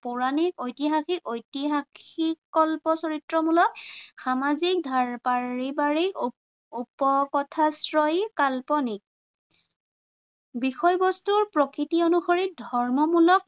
পৌৰাণিক ঐতিহাসিক ঐতিহাসিক কল্প চৰিত্ৰমূলক, সামাজিক, পাৰিবাৰিক, উপকথাশ্ৰয়ী, কাল্পনিক বিষয়বস্তুৰ প্ৰকৃতি অনুসৰি ধৰ্মমূলক